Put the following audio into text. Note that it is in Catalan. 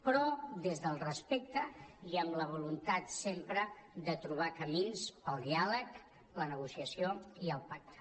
però des del respecte i amb la voluntat sempre de trobar camins per al diàleg la negociació i el pacte